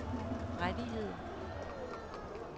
rettigheder